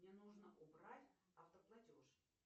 мне нужно убрать автоплатеж